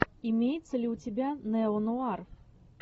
имеется ли у тебя неонуар